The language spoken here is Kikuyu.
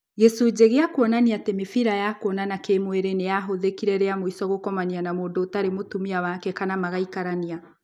gĩcunjĩ gĩa kuonania atĩ mĩbira ya kuonana kĩ-mwĩrĩ nĩyahũthĩkire rĩamũico gũkomania na mũndũ ũtarĩ mũtumia wake kana magaikarania